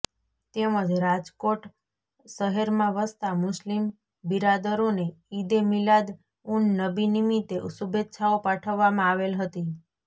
તેમજ રાજકોટ શહેરમાં વસતા મુસ્લિમ બિરાદરોને ઈદે મિલાદ ઉન નબી નિમિતે શુભેચ્છાઓ પાઠવવામાં આવેલ હતી